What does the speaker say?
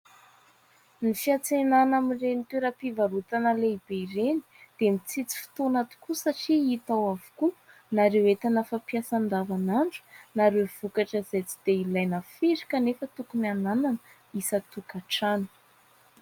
Ny fiantsenana amin'iren'ny toera-pivarotana lehibe ireny dia mitsitsy fotoana tokoa satria hita ao avokoa na ireo entana fampiasa andavanandro na ireo vokatra izay tsy dia ilana firy kanefa tokony hananana isa-tokantrano.